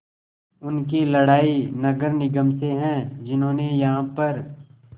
उनकी लड़ाई नगर निगम से है जिन्होंने यहाँ पर